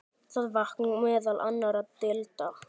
Það vakning meðal annarra deilda.